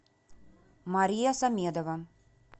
мария самедова